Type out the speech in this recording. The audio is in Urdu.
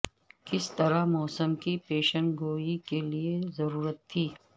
کس طرح موسم کی پیشن گوئی کے لئے ضرورت تھی